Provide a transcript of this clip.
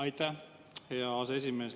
Aitäh, hea aseesimees!